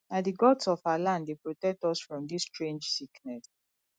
na di gods of our land dey protect us from dis strange sickness